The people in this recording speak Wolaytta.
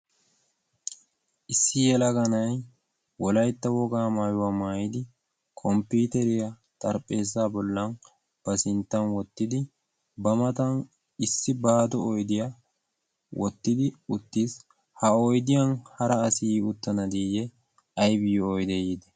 Issi yelaga na'ay Wolaytta wogaa maayuwa maayidi komppiiteriya xaripheezza bollan ba sinttan wottidi ba matan issi baado oydiya wottidi uttiis. Ha oydiyan hara asi yi uttana diiyye aybiyyo oydee yiidee?